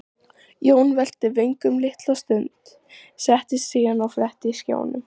Jón velti vöngum litla stund, settist síðan og fletti skránum.